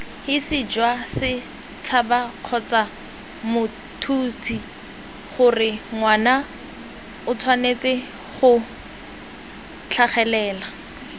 hisijwasets habakgotsamots huts hisigoreangwanaotshwanetsego tlhagelela